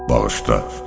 Bağışla!